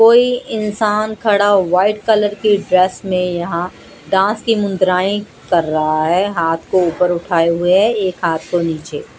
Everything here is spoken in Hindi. कोई इंसान खड़ा व्हाइट कलर की ड्रेस में यहां डांस की मुद्राएं कर रहा है हाथ को ऊपर उठाए हुए है एक हाथ को नीचे--